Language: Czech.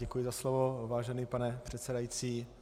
Děkuji za slovo, vážený pane předsedající.